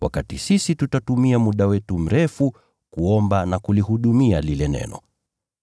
nasi tutatumia muda wetu kuomba na huduma ya neno.”